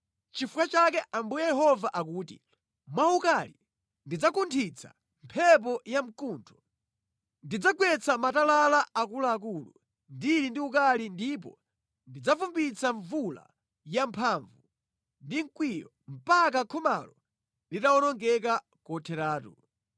“Nʼchifukwa chake Ambuye Yehova akuti: Mwa ukali ndidzakunthitsa mphepo ya mkuntho. Ndidzagwetsa matalala akuluakulu ndili ndi ukali ndipo ndidzavumbwitsa mvula yamphamvu ndi mkwiyo mpaka khomalo litawonongeka kotheratu.